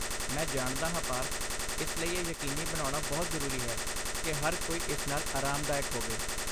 ਮੈਂ ਜਾਣਦਾ ਹਾਂ ਪਾਰਥ, ਇਸ ਲਈ ਇਹ ਯਕੀਨੀ ਬਣਾਉਣਾ ਬਹੁਤ ਜ਼ਰੂਰੀ ਹੈ ਕਿ ਹਰ ਕੋਈ ਇਸ ਨਾਲ ਆਰਾਮਦਾਇਕ ਹੋਵੇ।